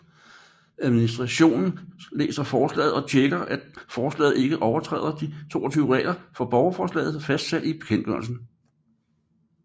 Administrationen læser forslaget og tjekker at forslaget ikke overtræder de 22 regler for borgerforslag fastsat i bekendtgørelsen